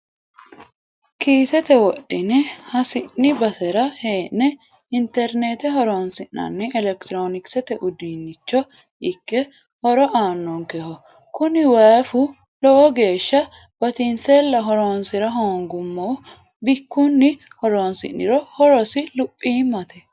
Kiisete wodhine hasi'ni basera hee'ne internete horonsi'nanni elekitironkisete uduunicho ikke horo aanonkeho kuni wifu lowo geeshsha batinsella horonsira hoonguummo bikkunni horonsi'niro horosi luphimate.